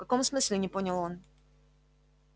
в каком смысле не понял он